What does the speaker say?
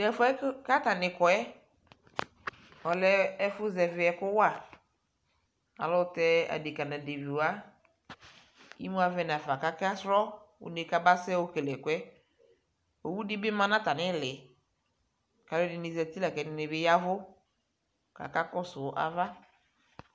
Tɛfuɛ katani kɔɛ ɔlɛɛ ɛfu zɛviɛku ku wa ayɛlutɛ adeka naleviwa imuavɛ nafa kaka srɔɔ uune kama yɔkele ɛkuɛ owudɛ bi maa natamili kaluɛdini ƶati la kaluɛdini bi yɛvu kaka kɔsuu ava